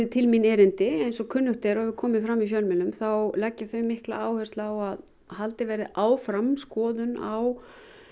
til mín erindi eins og kunnugt er og komið hefur fram í fjölmiðlum þá leggja þau mikla áherslu á að haldið verði áfram skoðun á